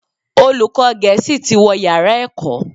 Olùkọ́ gẹ̀ẹ́sì tí wó yàrá ẹ̀kọ́